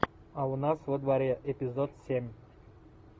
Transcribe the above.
а у нас во дворе эпизод семь